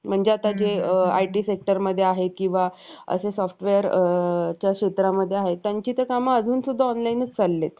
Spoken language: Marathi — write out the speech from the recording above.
आनंद लहरी, चिरंजीव, भारूड रचना. एकनाथ महाराजांची सत~ सर्वातकृष्ट निर्मिती भागवत म्हणून ओळखली जाते. त्यांनी त्यांच्या मूळ मराठी भाषेत,